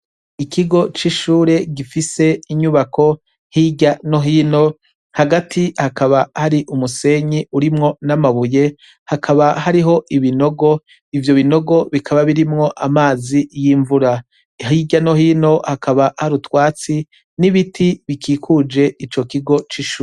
Ikigo c'ishure gifise inyubako hirya no hino hagati hakaba hari umusenyi urimwo n'amabuye hakaba hariho ibinogo ivyo binogo bikaba birimwo amazi y'imvura hirya no hino hakaba har utwatsi n'ibiti bikikuje ico kigo c'ishure.